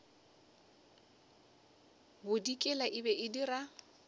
bodikela e be e dira